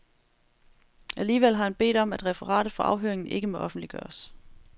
Alligevel har han bedt om, at referatet fra afhøringen ikke må offentliggøres.